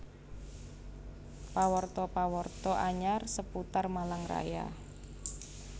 Pawarta pawarta anyar seputar Malang Raya